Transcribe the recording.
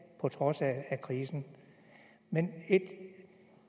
på trods af krisen men